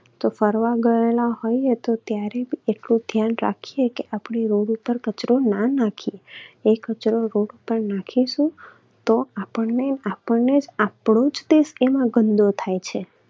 તો ફરવા ગયેલા હોઈએ તો ત્યારે એટલું ધ્યાન રાખીએ કે આપણે road ઉપર કચરો ના નાખીએ. એ કચરો road ઉપર નાખીશું તો આપણને આપણો જ એમાં ગંદો થાય છે.